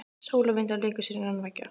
Sól og vindar léku sér innan veggja.